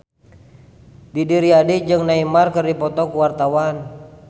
Didi Riyadi jeung Neymar keur dipoto ku wartawan